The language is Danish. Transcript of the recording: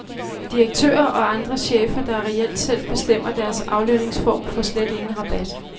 Direktører og andre chefer, der reelt selv bestemmer deres aflønningsform, får slet ingen rabat.